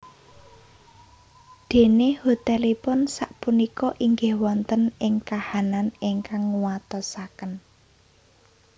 Déné hotelipun sak punika inggih wonten ing kahanan ingkang nguatosaken